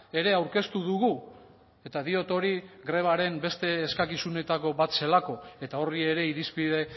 ere aurkeztu dugu eta diot hori grebaren beste eskakizunetako bat zelako eta horri ere irizpide